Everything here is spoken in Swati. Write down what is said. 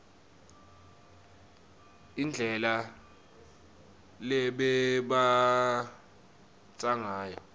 indlela lebebambatsa ngayo